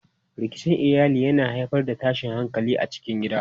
Rikicin iyali yana haifar da tashin hankali a cikin gida.